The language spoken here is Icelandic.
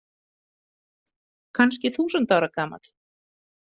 Kannski þúsund ára gamall.